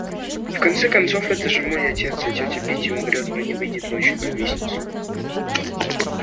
в конце концов это же мой отец а тётя питти умрёт но не выйдет ночью на лестницу